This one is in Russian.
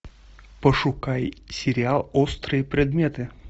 пошукай сериал острые предметы